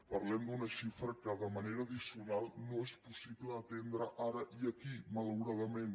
parlem d’una xifra que de manera addicional no és possible atendre ara i aquí malauradament